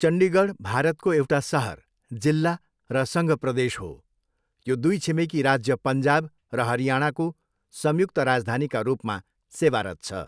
चण्डीगढ भारतको एउटा सहर, जिल्ला र सङ्घ प्रदेश हो। यो दुई छिमेकी राज्य पन्जाब र हरियाणाको संयुक्त राजधानीका रूपमा सेवारत छ।